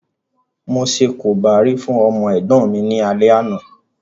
Mo ṣe korobá fún ọmọ ẹ̀gbọ́n mi ní alẹ́ àná